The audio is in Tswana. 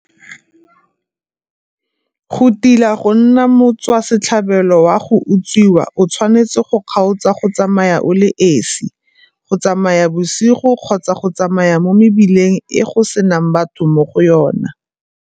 Go tila go nna motswa setlhabelo wa go utswiwa o tshwanetse go kgaotsa go tsamaya o le esi, go tsamaya bosigo kgotsa go tsamaya mo mebileng e go senang batho mo go yona.